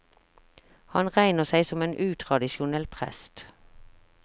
Han regner seg som en utradisjonell prest.